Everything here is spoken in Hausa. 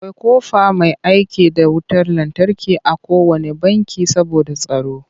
Akwai ƙofa mai aiki da wutar lantarki a kowanne banki saboda tsaro.